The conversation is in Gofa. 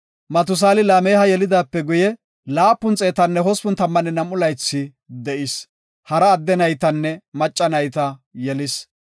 Matusaali Laameha yelidaape guye, 782 laythi de7is. Hara adde naytanne macca nayta yelis.